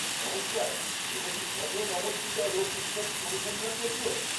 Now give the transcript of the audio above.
নমস্কার, এটা কি পথনমতিট্টা লোক উৎসব অনুসন্ধান কেন্দ্র?